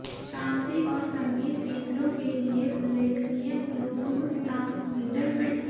शान्ति और संगीत केन्द्रों के लिए उल्लेखनीय ब्लूटूथ ट्रांसमीटर फिट